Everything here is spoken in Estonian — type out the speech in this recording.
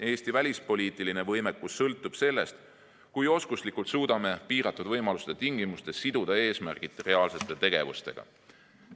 Eesti välispoliitiline võimekus sõltub sellest, kui oskuslikult suudame piiratud võimaluste tingimustes siduda eesmärgid reaalsete tegevustega.